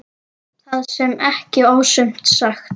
Það sé ekki ofsögum sagt.